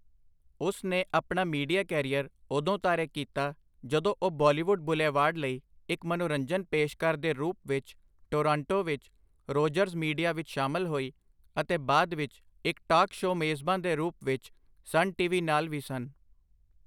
ਉਸ ਨੇ ਆਪਣਾ ਮੀਡੀਆ ਕੈਰੀਅਰ ਉਦੋਂ ਤਾਰੇ ਕੀਤਾ ਜਦੋਂ ਉਹ ਬਾਲੀਵੁੱਡ ਬੁਲੇਵਾਰਡ ਲਈ ਇੱਕ ਮਨੋਰੰਜਨ ਪੇਸ਼ਕਾਰ ਦੇ ਰੂਪ ਵਿੱਚ ਟੋਰਾਂਟੋ ਵਿੱਚ ਰੋਜਰਜ਼ ਮੀਡੀਆ ਵਿੱਚ ਸ਼ਾਮਲ ਹੋਈ, ਅਤੇ ਬਾਅਦ ਵਿੱਚ ਇੱਕ ਟਾਕ ਸ਼ੋਅ ਮੇਜ਼ਬਾਨ ਦੇ ਰੂਪ ਵਿੱਚ ਸਨ ਟੀਵੀ ਨਾਲ ਵੀ ਸਨ।